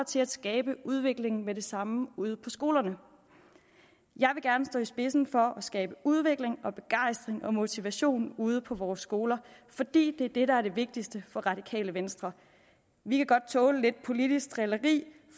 til at skabe udvikling med det samme ude på skolerne jeg vil gerne stå i spidsen for at skabe udvikling begejstring og motivation ude på vores skoler for det er det vigtigste for radikale venstre vi kan godt tåle lidt politisk drilleri